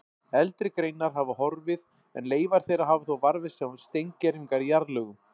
Eldri greinar hafa horfið en leifar þeirra hafa þó varðveist sem steingervingar í jarðlögum.